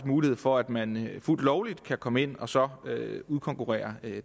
mulighed for at man fuldt lovligt kan komme ind og så udkonkurrere